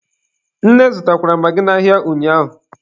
Nne zụtara magị n'ahịa ụnyaahụ.